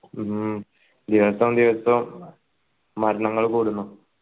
ഉം ദിവസോ ദിവസോ മരണങ്ങൾ കൂടുന്നു